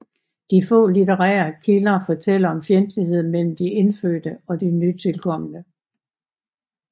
De få litterære kilder fortæller om fjendtlighed mellem de indfødte og de nytilkomne